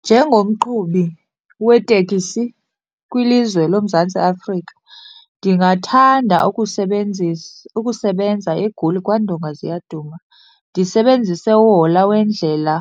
Njengomqhubi weteksi kwilizwe loMzantsi Afrika, ndingathanda ukusebenza eGoli kwaNdongaziyaduma, ndisebenzise uhola wendlela